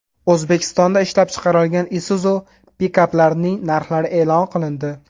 O‘zbekistonda ishlab chiqarilgan Isuzu pikaplarining narxlari e’lon qilindi.